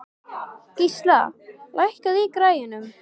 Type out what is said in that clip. Gísla, lækkaðu í græjunum.